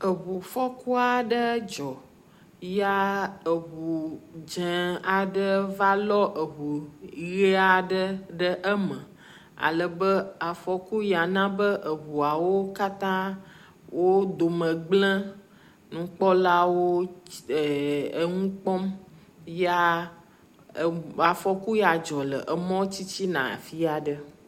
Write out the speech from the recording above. Eŋufɔku aɖe dzɔ ya ŋu dzẽ aɖe va lɔ ŋu ʋie aɖe ɖe eme alebe afɔku ya na be ŋua wo katã wo dome gblẽ. Nukpɔlawo wo eer nu kpɔm ya afɔku ya dzɔ le mɔa titina afi aɖe.